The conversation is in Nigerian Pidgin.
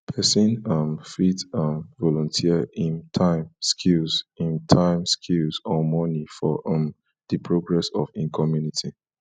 persin um fit um volunteer im time skills im time skills or money for um di progress of im community